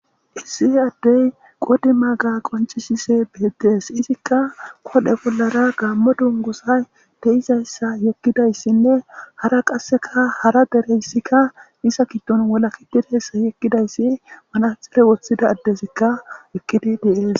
Issi addey qodi maga qoncisise beettees izikka kodhe bollara gaammo dungusay de7izayssa yekkidayssinne hara qasseka hara dereyssikka nisa kiddon wola kitidayssa yekkidayssi manatxefe woththida addesikka ekkidi deees.